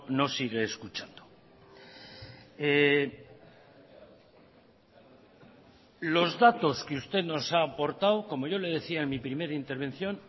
no sigue escuchando los datos que usted nos ha aportado como yo le decía en mi primera intervención